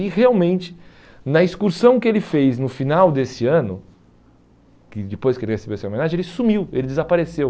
E realmente, na excursão que ele fez no final desse ano, que depois que ele recebeu essa homenagem, ele sumiu, ele desapareceu.